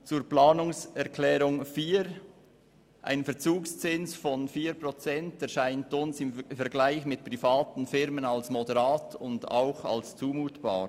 Zur Planungserklärung 4: Ein Verzugszins von 4 Prozent erscheint uns im Vergleich zu privaten Firmen moderat und zumutbar.